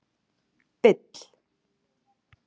Bill